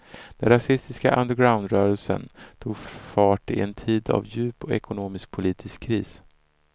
Den rasistiska undergroundrörelsen tog fart i en tid av djup ekonomisk och politisk kris.